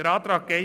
Zum Antrag